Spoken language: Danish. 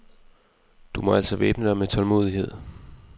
Du må altså væbne dig med tålmodighed.